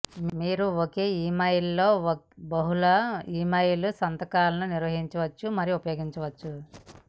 మీరు ఒకే ఇమెయిల్లో బహుళ ఇమెయిల్ సంతకాలను నిర్వహించవచ్చు మరియు ఉపయోగించవచ్చు